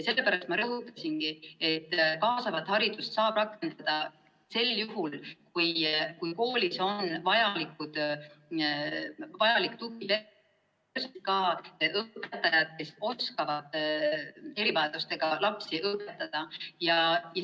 Sellepärast ma rõhutasingi, et kaasavat haridust saab rakendada sel juhul, kui koolis on vajalik tugipersonal ja õpetajad, kes oskavad erivajadustega lapsi õpetada.